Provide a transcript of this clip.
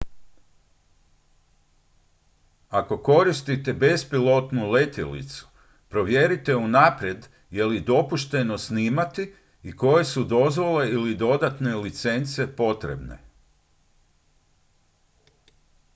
ako koristite bespilotnu letjelicu provjerite unaprijed je li dopušteno snimati i koje su dozvole ili dodatne licence potrebne